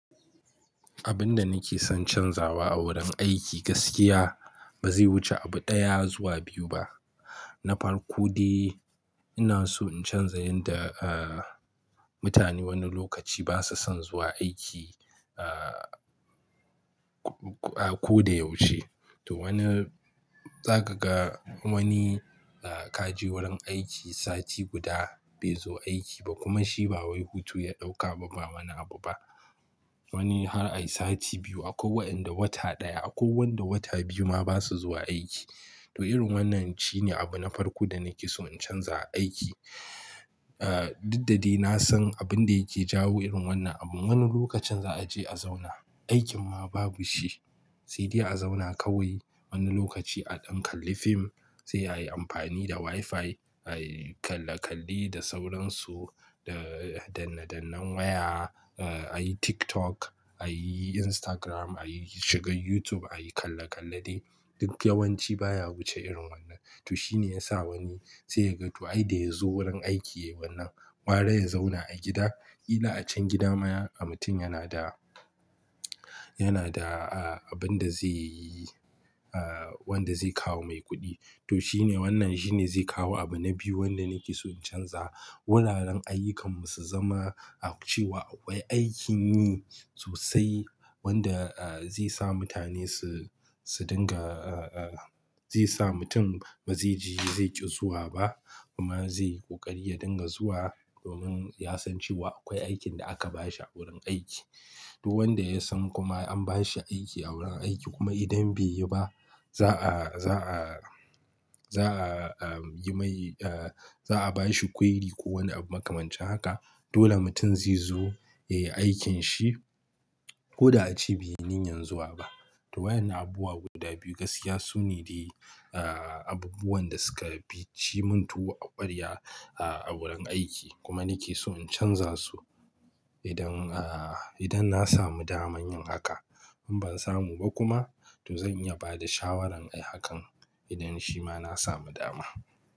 Abin da nake son canzawa a wurin aiki gaskiya ba zai wuce abu ɗaya zuwa biyu ba. Na farko dai ina so in canza yanda, ah, mutane wani lokaci basu son zuwa aiki, a, ko da yaushe. To wani, za ka ga wani, ah, ka je wurin aiki sati guda bai zo aiki ba kuma shi ba wai hutu ya ɗauka ba ba wani abu ba. Wani har a yi sati biyu akwai wayanda wata ɗaya akwai wanda wata biyu ma basu zuwa aiki. To irin wannan shine abu na farko da nake so in canza a aiki. Ah, duk da dai na san abin da yake jawo irin wannan abu. Wani lokacin za a je a zauna, aikin ma babu shi sai dai a zauna kawai. Wani lokaci a dan kalli fim, sai ayi amfani da WiFi, ayi kalla-kalle da sauransu, da danne-dannen waya, ah ayi TikTok, ayi Instagram, ayi shiga YouTube, ayi kalla-kalle dai duk yawanci baya wuce irin wannan. To shine yasa wani sai ya ga to ai da ya zo wurin aiki yayi wannan gwara ya zauna a gida. Kila a can gida ma mutum yana da, yana da, ah, abin da zai yi, ah, wanda zai kawo mai kuɗi. To shine wannan shine zai kawo abu na biyu wanda nake so in canza. Wuraren ayyukan mu su zama a cewa akwai aikin yi sosai wanda, ah, zai sa mutane su, su dinga, zai sa mutum ba zai ji zai ƙi zuwa ba kuma zai ƙoƙari ya dinga zuwa domin ya san cewa akwai aikin da aka bashi a wurin aiki. To wanda ya san kuma an bashi aiki a wurin aiki kuma idan bai yi ba za'a, za'a, za'a yi mai, eh, za'a bashi kwairi ko wani abu makamancin haka. Dole mutum zai zo ya yi aikin shi ko da a ce beyi ninyan zuwa ba. To wayannan abubuwa guda biyu gaskiya su ne dai, ah, abubuwan da suka fi ci mun tuwo a ƙwarya a wurin aiki kuma nake so in canza su idan, ah, idan na samu daman yin haka. In ban samu ba kuma to zan iya ba da shawaran ai hakan idan shi ma na samu dama.